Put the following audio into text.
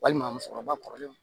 Walima musokɔrɔba kɔrɔlenw